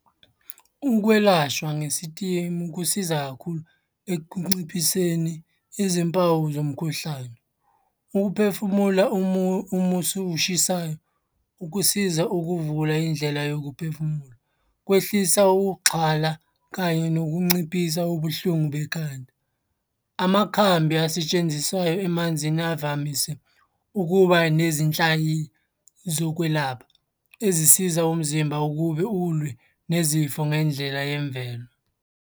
Ukwelashwa ngesitimu kusiza kakhulu ekunciphiseni izimpawu zomkhuhlane. Ukuphefumula umusi oshisayo kusiza ukuvula indlela yokuphefumula. Kwehlisa ukuxhala kanye nokunciphisa ubuhlungu bekhanda. Amakhambi asetshenziswayo emanzini avamise ukuba nezinhlaki zokwelapha ezisiza umzimba ukube ulwe nezifo ngendlela yemvelo.